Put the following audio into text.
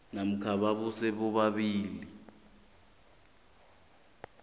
namkha ababuze bobabili